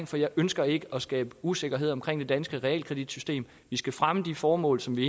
for jeg ønsker ikke at skabe usikkerhed omkring det danske realkreditsystem vi skal fremme de formål som vi